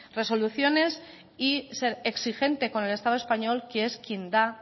resoluciones y ser exigente con el estado español que es quien da